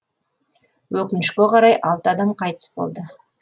өкінішке қарай алты адам қайтыс болды